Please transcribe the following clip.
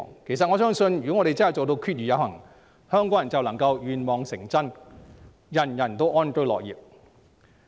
其實我相信如果我們真正做到"決而有行"，香港人便能願望成真，人人安居樂業。